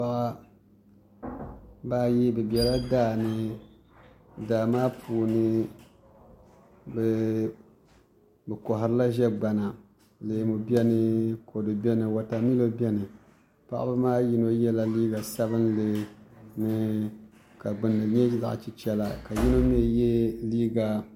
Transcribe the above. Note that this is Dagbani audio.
Paɣaba ayi bi biɛla daani daa maa puuni bi koharila ʒɛ gbana leemu biɛni kodu biɛni wotamilo biɛni paɣaba maa yino yɛla liiga sabinli ka gbunni nyɛ zaɣ chichɛla ka yino mii yɛ liiga